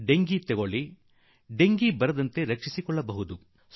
dengue ರೋಗವನ್ನೇ ತೆಗೆದುಕೊಳ್ಳಿ ಡೆಂಗಿಯಿಂದ ಪಾರಾಗುವುದು ಸಾಧ್ಯವಿದೆ